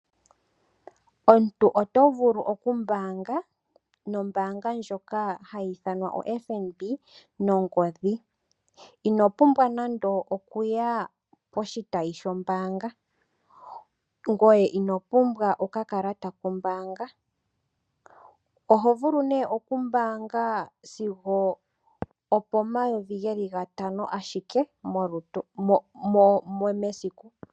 Omuntu oto vuku oku mbaanga no mbaanga ndjoka hayi ithwanwa o FNB nongodhi. Ino pumbwa nando okuya koshitayi shoo mbaanga ngoye ino pumbwa okakalata kombaanga. Oho vulu nee oku mbaanga sigo opo mayovi geli ga tano ashike mesiku.